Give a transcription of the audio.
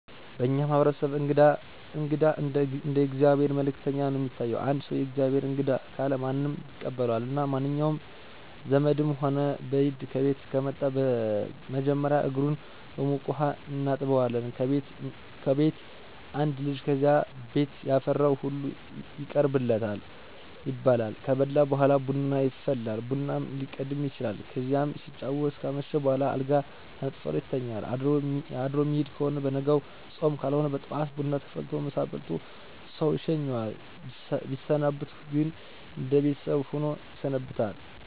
በእኛ ማህበረሰብ እንግዳ እንደ የእግዚአብሔር መልእክተኛ ነው የሚታይ። አንድ ሰው። “ የእግዚአብሔር እንግዳ“ ካለ ማንም ይቀበለዋል እና መንኛውም ዘመድም ሆነ በይድ ከቤት ከመጣ መጀመሪያ እግሩን በሞቀ ውሀ እናጥበዋለን ከቤት አንድ ልጅ ከዚያ ቤት ያፈራው ሁሉ ይቀርብለታል ይበላል። ከበላ በኋላ ቡና ይፈላል ቡናውም ሊቀድም ይችላል። ከዚያ ሲጫወቱ ካመሹ በኋላ አልጋ ተነጥፎለት ይተኛል አድሮ ሚሄድ ከሆነ በነጋው ጾም ካልሆነ በጠዋት ቡና ተፈልቶለት ምሳ በልቶ ሰው ይሸኘዋል። ሚሰነብት ከሆነ እነደ ቤተሰብ ሆኖ ይሰነብታል።